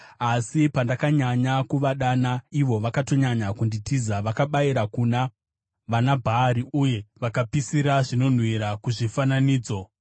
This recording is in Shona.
Asi pandakanyanya kuvadana, vakatonyanya kunditiza. Vakabayira kuna vanaBhaari uye vakapisira zvinonhuhwira kuzvifananidzo.